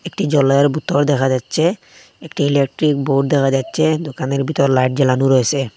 একটি জলের বোতল দেখা যাচ্ছে একটি ইলেকট্রিক বোর্ড দেখা যাচ্ছে দোকানের ভিতর লাইট জ্বালানো রয়েসে।